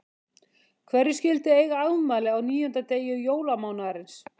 Hverjir skyldu eiga afmæli á níunda degi jólamánaðarins.